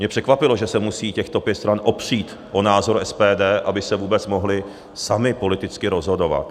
Mě překvapilo, že se musí těchto pět stran opřít o názor SPD, aby se vůbec mohly samy politicky rozhodovat.